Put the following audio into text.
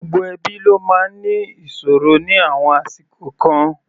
Gbogbo ẹbí ló máa ń ní ìṣòro ní àwọn àsìkò kan.